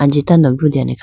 anji tando brutene khayi --